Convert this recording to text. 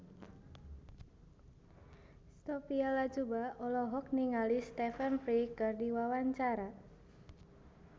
Sophia Latjuba olohok ningali Stephen Fry keur diwawancara